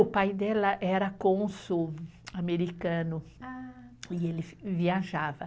O pai dela era cônsul americano e ele viajava.